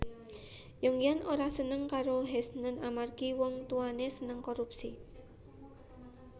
Yongyan ora seneng karo Heshen amarga wong tuwane seneng korupsi